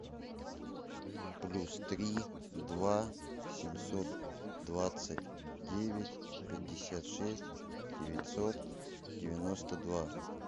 плюс три два семьсот двадцать девять пятьдесят шесть девятьсот девяносто два